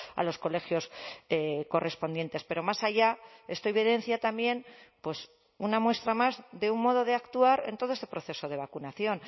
a los colegios correspondientes pero más allá esto evidencia también pues una muestra más de un modo de actuar en todo este proceso de vacunación